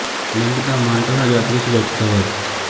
minute ਦਾ motto ਹੈ ਆਜ਼ਾਦੀ ਤੋਂ ਸੁਚੱਜਤਾ ਵੱਲ